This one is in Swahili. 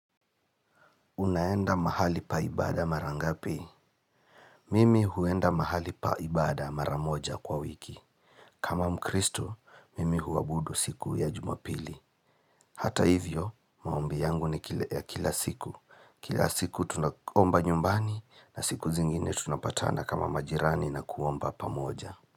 Unaenda mahali pa ibada marangapi. Mimi huenda mahali paibada maramoja kwa wiki. Kama mkristo, mimi huabudu siku ya jumapili. Hata hivyo, maombi yangu ni kila siku. Kila siku tunakomba nyumbani na siku zingine tunapatana kama majirani na kuomba pamoja.